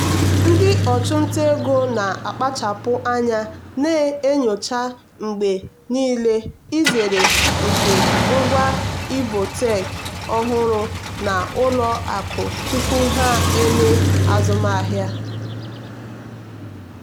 ndị ọchụnta ego na-akpachapụ anya na-enyocha mgbe niile nzere nke ngwa ibotech ọhụrụ na ụlọ akụ tupu ha eme azụmahịa.